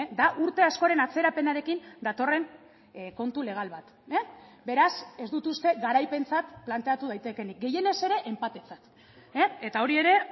da urte askoren atzerapenarekin datorren kontu legal bat beraz ez dut uste garaipentzat planteatu daitekeenik gehienez ere enpatetzat eta hori ere